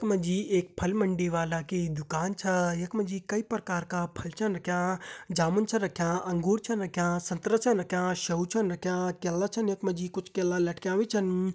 इखमा जी एक फलमंडी वाला की दुकान छा यखमा जी कई प्रकार का फल छन रख्यां जामुन छा रख्यां अंगूर छन रख्यां संतरा छन रख्यां शउ छन रख्यां क्याला छन यखमा जी कुछ केला लटक्याँ भी छन।